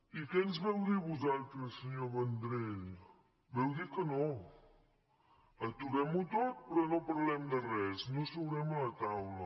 i què ens vau dir vosaltres senyor vendrell vau dir que no aturem ho tot però no parlem de res no seurem a la taula